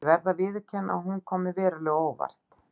Og ég verð að viðurkenna að hún kom mér verulega á óvart.